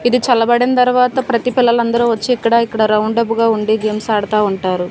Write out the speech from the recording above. ఇది చల్లబడిన్ తర్వాత ప్రతి పిల్లలందరూ వచ్చి ఇక్కడ ఇక్కడ రౌండప్ గా ఉండి గేమ్స్ ఆడుతా ఉంటారు.